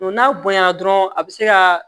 n'a bonyana dɔrɔn a bɛ se ka